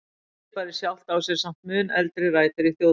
Fyrirbærið sjálft á sér samt mun eldri rætur í þjóðtrúnni.